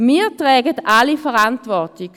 Wir tragen alle Verantwortung.